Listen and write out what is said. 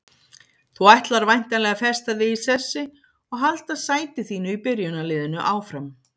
Þú ætlar væntanlega að festa þig í sessi og halda sæti þínu í byrjunarliðinu áfram?